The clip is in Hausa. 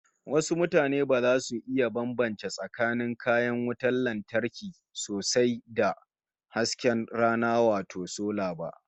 Wasu mutanen ba za su iya bambance tsakanin kayan wutar lantarkin sosai da na hasken rana wato sola ba